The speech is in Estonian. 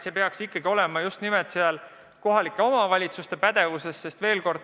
See peaks ikkagi olema just nimelt kohalike omavalitsuste pädevuses.